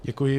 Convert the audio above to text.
Děkuji.